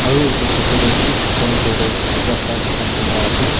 Aro etu photo dae thik center dae rasta thaka dikhi pa ase.